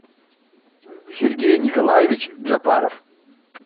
сергей николаевич джапаров